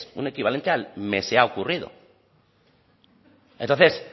un equivalente al se me ha ocurrido entonces